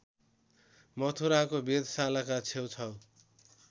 मथुराको वेधशालाका छेउछाउ